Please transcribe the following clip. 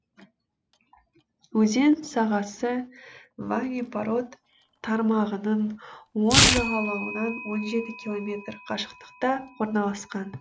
өзен сағасы ване парод тармағының оң жағалауынан он жеті километр қашықтықта орналасқан